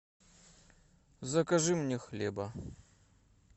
закажи мне хлеба